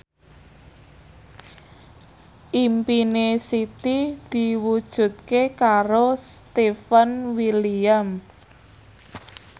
impine Siti diwujudke karo Stefan William